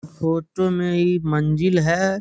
Photo में इ मंज़िल है।